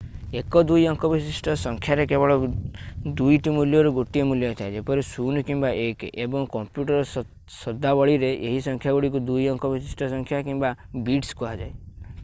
ଏକ ଦୁଇ ଅଙ୍କ ବିଶିଷ୍ଟ ସଂଖ୍ୟାରେ କେବଳ ଦୁଇଟି ମୂଲ୍ୟରୁ ଗୋଟିଏ ମୂଲ୍ୟ ଥାଏ ଯେପରି 0 କିମ୍ବା 1 ଏବଂ କମ୍ପ୍ୟୁଟର୍ ଶଦ୍ଦାବଳୀରେ ଏହି ସଂଖ୍ୟାଗୁଡ଼ିକୁ ଦୁଇ ଅଙ୍କ ବିଶିଷ୍ଟ ସଂଖ୍ୟା କିମ୍ବା ବିଟ୍ସ କୁହାଯାଏ